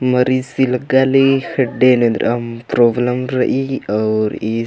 मरीज लग्गाली खेडडे एन्दरम प्रोबलम रइई और इस---